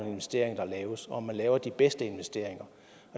investeringer der laves og om man laver de bedste investeringer